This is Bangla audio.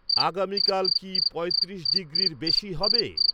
আগামীকাল কি পঁয়ত্রিশ ডিগ্রির বেশি হবে?